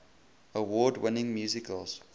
award winning musicals